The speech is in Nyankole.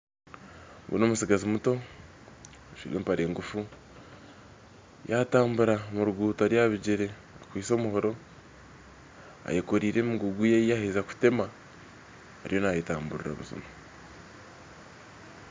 Ogu na omutsigazi omuto ajwaire empare engufu yatambura omu ruguuto ari aha bigere akwitse omuhoro eyekoriire emigugu ye ei yaaheza kutema ariyo nayetamburira buzima